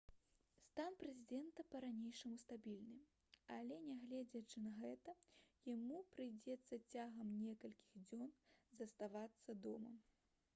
стан прэзідэнта па-ранейшаму стабільны але нягледзячы на гэта яму прыйдзецца цягам некалькіх дзён заставацца дома